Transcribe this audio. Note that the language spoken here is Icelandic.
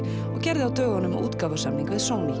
og gerði á dögunum útgáfusamning við Sony